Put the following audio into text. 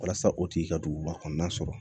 Walasa o tigi ka duguba kɔnɔna sɔrɔ